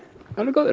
alveg góður